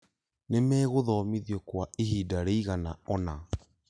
Nĩmegũthomithwo kwa ihinda rĩigana ona